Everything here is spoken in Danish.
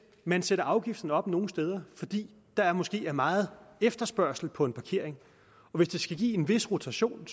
man sætter afgiften op nogle steder fordi der måske er meget efterspørgsel på en parkering og hvis det skal give en vis rotation